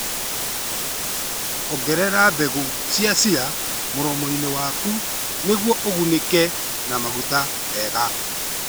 Ongerera mbegũ cia chia mũromo-inĩ waku nĩguo ũgunĩke na maguta mega.